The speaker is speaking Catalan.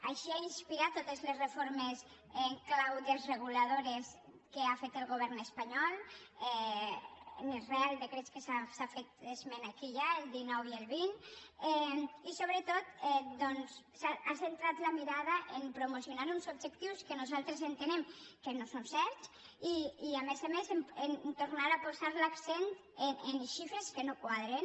així ha inspirat totes les reformes en clau desreguladora que ha fet el govern espanyol en els reials decrets de què s’ha fet esment aquí ja el dinou i el vint i sobretot ha centrat la mirada a promocionar uns objectius que nosaltres entenem que no són certs i a més a més a tornar a posar l’accent en xifres que no quadren